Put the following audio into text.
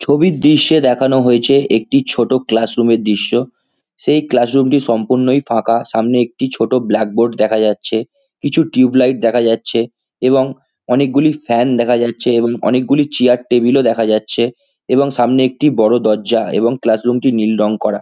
ছবির দৃশ্যে দেখানো হয়েছে একটি ছোটো ক্লাস রুম এর দৃশ্য সেই ক্লাস রুম টি সম্পূর্ণই ফাঁকা সামনে একটি ছোটো ব্ল্যাক বোর্ড দেখা যাচ্ছে কিছু টিউব লাইট দেখা যাচ্ছে এবং অনেকগুলি ফ্যান দেখা যাচ্ছে এবং অনেকগুলি চেয়ার টেবিল ও দেখা যাচ্ছে এবং সামনে একটি বড়ো দরজা এবং ক্লাস রুম টি নীল রং করা।